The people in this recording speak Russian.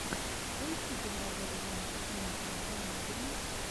поищи киноработу жанра циничная комедия